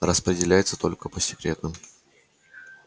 распределяется только по секретным